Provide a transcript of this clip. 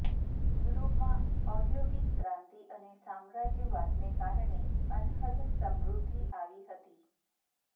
યુરોપમાં ઔદ્યોગિક ક્રાંતિ અને સામ્રાજ્યવાદને કારણે અનહદ સમૃદ્ધિ આવી હતી